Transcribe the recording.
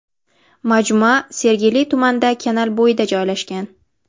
Majmua Sergeli tumanida kanal bo‘yida joylashgan.